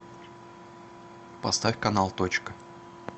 поставь канал точка